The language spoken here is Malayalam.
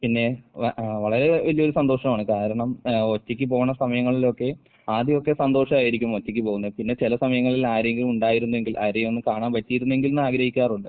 പിന്നെ വ ഏഹ് വളരെ വലിയൊരു സന്തോഷമാണ്. കാരണം ഏഹ് ഒറ്റയ്ക്ക് പോണ സമയങ്ങളിലൊക്കെ ആദ്യോക്കെ സന്തോഷായിരിക്കും ഒറ്റയ്ക്ക് പോകുന്നതിൽ. പിന്നെ ചെല സമയങ്ങളിൽ ആരെങ്കിലും ഉണ്ടായിരുന്നെങ്കിൽ ആരെയൊന്ന് കാണാൻ പറ്റിയിരുന്നെങ്കിൽന്ന് ആഗ്രഹിക്കാറുണ്ട്.